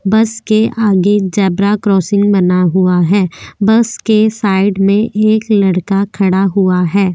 बस के आगे झेब्रा क्रॉसिंग बना हुआ है बस के साइड में एक लडका खड़ा हुआ है।